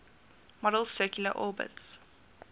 model's circular orbits